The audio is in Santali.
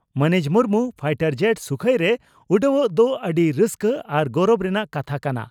ᱢᱟᱹᱱᱤᱡ ᱢᱩᱨᱢᱩ ᱯᱷᱟᱭᱴᱚᱨ ᱡᱮᱴ ᱥᱩᱠᱷᱚᱭᱨᱮ ᱩᱰᱟᱹᱣᱜ ᱫᱚ ᱟᱹᱰᱤ ᱨᱟᱹᱥᱠᱟᱹ ᱟᱨ ᱜᱚᱨᱚᱵ ᱨᱮᱱᱟᱜ ᱠᱟᱛᱷᱟ ᱠᱟᱱᱟ ᱾